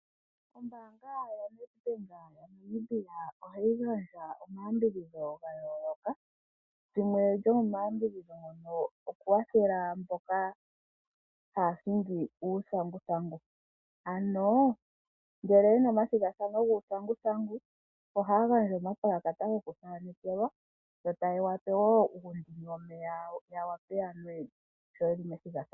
Ombaanga yoNedBank moNamibia ohayi gandja omayambidhidho ga yooloka. Limwe lyomomayambidhidho ngono okukwathela mboka haya hingi uuthanguthangu. Ano ngele yena omathigathano guuthanguthangu ohaya gandja omapulakata gokuthanekelwa yo taye yape uundini womeya, ya vule okunwa sho yeli methigathano.